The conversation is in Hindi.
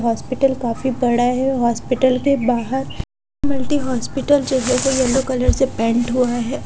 हॉस्पिटल काफी बड़ा है हॉस्पिटल के बाहर मल्टी हॉस्पिटल जो है येलो कलर से पैंट हुआ है।